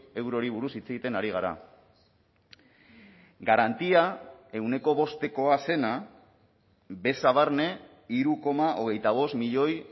eurori buruz hitz egiten ari gara garantia ehuneko bostekoa zena beza barne hiru koma hogeita bost milioi